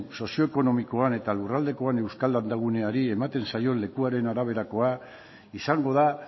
sozioekonomikoan eta lurraldekoan euskal landa guneari ematen zaion leku araberakoa izango da